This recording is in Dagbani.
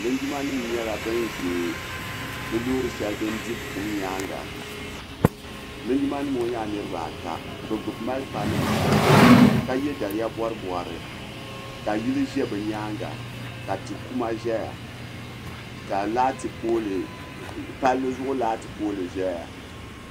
Linjima nima yɛla ban za bi loori shɛli din di buɣim yɛanga linjima nim ŋɔ yɛla niriba ata bi gbubi marafa nima ka yiɛ daliya bɔri bɔri ka yili zɛ bi yɛanga ka ti kuma zɛya ka palli zuɣu lati pooli zɛya.